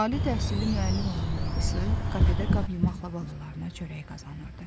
Ali təhsilli müəllim olan anası kafedə qab yumaqla balalarına çörək qazanırdı.